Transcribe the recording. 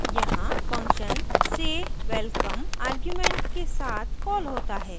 यहाँ function say _ welcome arguments के साथ कॉल होता है